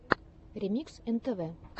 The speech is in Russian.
ремикс нтв